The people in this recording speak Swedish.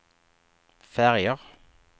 färger